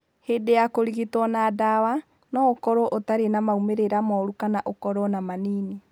Hĩndĩ ya kũrigitwo na ndawa, no ũkorũo ũtarĩ na moimĩrĩra moru kana ũkorũo na manini.